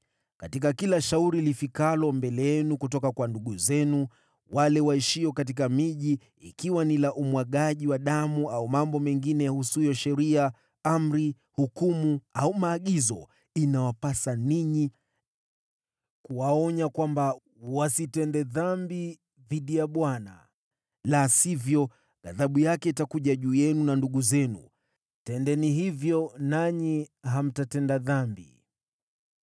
Katika kila shauri lifikalo mbele yenu kutoka kwa ndugu zenu wale waishio katika miji, ikiwa ni la umwagaji wa damu au mambo mengine yahusuyo sheria, amri, hukumu au maagizo, inawapasa ninyi kuwaonya kwamba wasiingie katika hatia dhidi ya Bwana , la sivyo ghadhabu yake itakuja juu yenu na ndugu zenu. Tendeni hivyo, nanyi hamtatenda dhambi.